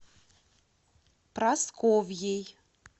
прасковьей